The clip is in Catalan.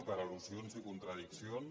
per al·lusions i contradiccions